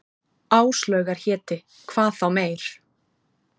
Áslaugar héti, hvað þá meir.